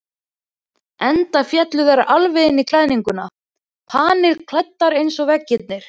Enda féllu þær alveg inn í klæðninguna, panilklæddar eins og veggirnir.